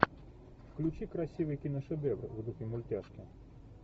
включи красивый киношедевр в духе мультяшки